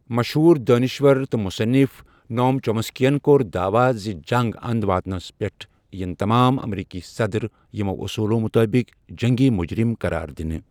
مشہوٗر دٲنِشوَر تہٕ مُصنِف، نوم چومَسکِیَن کوٛر داعوا زِ جنٛگ انٛد واتنس پیٹھ یِن تَمام امریٖکی صَدٕر یمو اوٚصولو مُطٲبِق جٔنٛگی مجرم قرار دنہٕ ۔